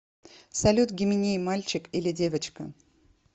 салют гименей мальчик или девочка